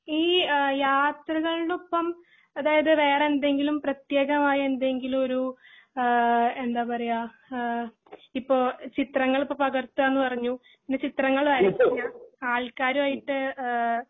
ഈ അഹ് യാത്രകളിലിപ്പം അതായത് വേറെ എന്തെങ്കിലും പ്രത്യേകമായ എന്തെങ്കിലും ഒരു ആഹ് എന്താ പറയാ ആഹ് ഇപ്പൊ ചിത്രങ്ങൾ ഇപ്പൊ പകർത്താന്ന് പറഞ്ഞു പിന്നെ ചിത്രങ്ങൾ വരക്കുക ആള്കാരുമായിട്ട് ഏഹ്